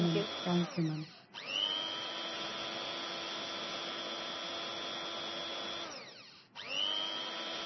Thank you ma'am.